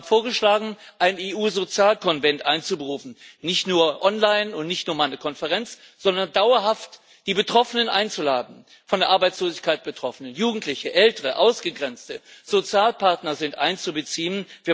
Ich habe vorgeschlagen, einen EU Sozialkonvent einzuberufen nicht nur online und nicht nur, um eine Konferenz zu haben, sondern dauerhaft die Betroffenen einzuladen von Arbeitslosigkeit Betroffene, Jugendliche, Ältere, Ausgegrenzte, Sozialpartner sind einzubeziehen.